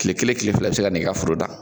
Kile kelen kile fila i be se ka na i ka foro dan